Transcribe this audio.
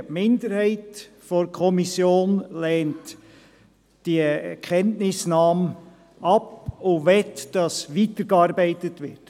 Die Minderheit der Kommission lehnt die Kenntnisnahme ab und möchte, dass weitergearbeitet wird.